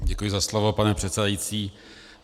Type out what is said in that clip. Děkuji za slovo, pane předsedající.